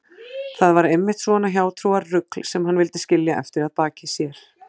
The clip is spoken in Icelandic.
Það var einmitt svona hjátrúarrugl sem hann vildi skilja eftir að baki sér.